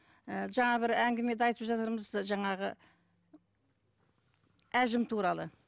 ы жаңа бір әңгімеде айтып жатырмыз жаңағы әжім туралы